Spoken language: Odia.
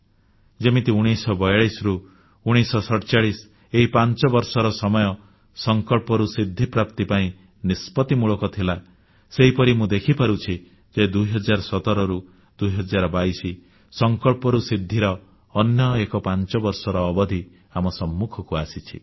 ଯେମିତି 1942ରୁ 1947 ଏହି ପାଞ୍ଚବର୍ଷର ସମୟ ସଂକଳ୍ପରୁ ସିଦ୍ଧିପ୍ରାପ୍ତି ପାଇଁ ନିଷ୍ପତ୍ତିମୂଳକ ଥିଲା ସେହିପରି ମୁଁ ଦେଖିପାରୁଛି ଯେ 2017ରୁ 2022 ସଂକଳ୍ପରୁ ସିଦ୍ଧିର ଅନ୍ୟ ଏକ ପାଞ୍ଚବର୍ଷର ଅବଧି ଆମ ସମ୍ମୁଖକୁ ଆସିଛି